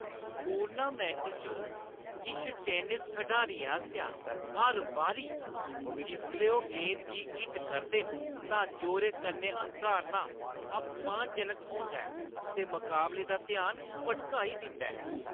Tournament च किश tennis खडारियें आसेआ हर बारी जिसलै ओह् गेंद गी हिट करदे न तां जोरै कन्नै हंकारना अपमानजनक होंदा ऐ ते मकाबले दा ध्यान भटकाई दिंदा ऐ।